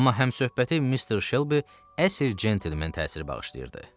Amma həmsöhbəti Mister Shelby əsl centlmen təsiri bağışlayırdı.